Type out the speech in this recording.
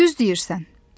Düz deyirsən.